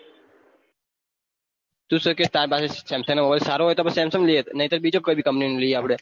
તું સુ કે તાર પાહે samsang mobile સારો હોય તો Samsung લિયે નઈ તાર બીજી company લિયે આપડે